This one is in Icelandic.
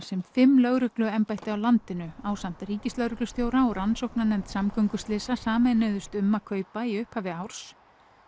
sem fimm lögregluembætti á landinu ásamt ríkislögreglustjóra og rannsóknarnefnd samgönguslysa sameinuðust um að kaupa í upphafi árs